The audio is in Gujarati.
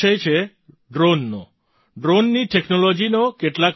આ વિષય છે ડ્રૉનનો ડ્રૉનની ટૅક્નૉલૉજીનો